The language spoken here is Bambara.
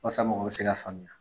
Wasa, mɔgɔw bɛ se k'a faamuya.